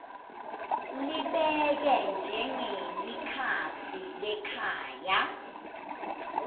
libeke njengelikhasi lekhaya